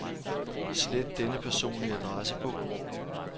Slet denne person i adressebog.